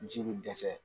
Ji bɛ dɛsɛ